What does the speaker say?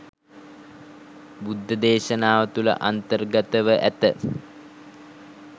බුද්ධදේශනාව තුළ අන්තර්ගතව ඇත.